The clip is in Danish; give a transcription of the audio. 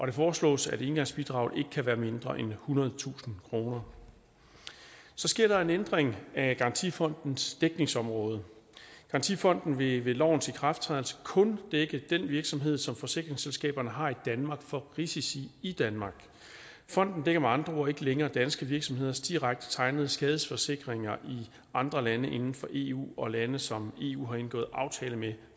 det foreslås at engangsbidraget ikke kan være mindre end ethundredetusind kroner så sker der en ændring af garantifondens dækningsområde garantifonden vil ved lovens ikrafttræden kun dække den virksomhed som forsikringsselskaberne har i danmark for risici i danmark fonden dækker med andre ord ikke længere danske virksomheders direkte tegnede skadesforsikringer i andre lande inden for eu og lande som eu har indgået aftale med